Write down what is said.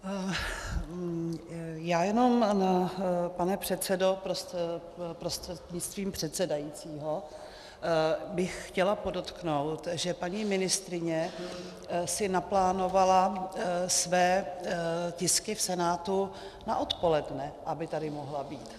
Já jenom, pane předsedo, prostřednictvím předsedajícího bych chtěla podotknout, že paní ministryně si naplánovala své tisky v Senátu na odpoledne, aby tady mohla být.